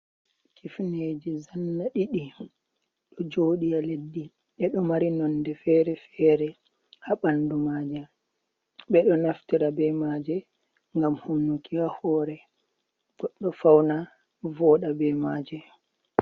Kifneji zanna ɗiɗi ɗo joɗi ha leddi, ɗeɗo mari nonde fere-fere, ha bandu Maja, bedo naftira be maje ngam humnuki ha hore boddo fauna voda be maje.